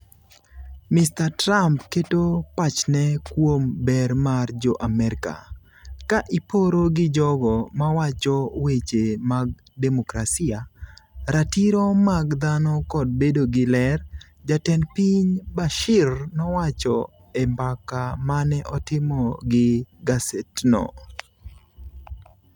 Mr. Trump keto pachne kuom ber mar jo Amerka, ka iporo gi jogo mawacho weche mag demokrasia, ratiro mag dhano kod bedo gi ler, jatend piny Bashir nowacho e mbaka mane otimo gi gasetno.